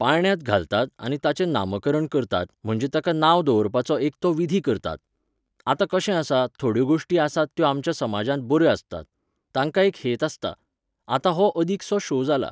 पाळण्यांत घालतात आनी ताचें नामकरण करतात म्हणजे ताका नांव दवरपाचो एक तो विधी करतात. आतां कशें आसा, थोड्यो गोश्टी आसात त्यो आमच्या समाजांत बऱ्यो आसतात. तांकां एक हेत आसता. आतां हो अदीकसो show जाला.